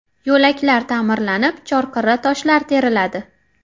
Yo‘laklar ta’mirlanib, chorqirra toshlar teriladi.